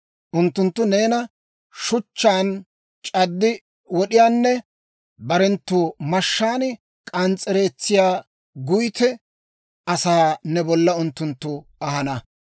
Unttunttu neena shuchchaan c'addi wod'iyaanne barenttu mashshaan k'ans's'ereetsiyaa guytte asaa ne bolla unttunttu ahana.